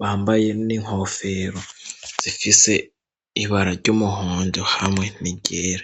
Bambaye n'inkofero zifise ibara ry'umuhondo hamwe n'iryera.